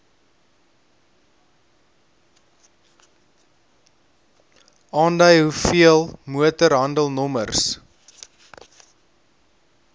aandui hoeveel motorhandelnommers